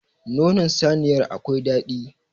Nonon saniyar akwai dadi.